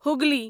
Hooghly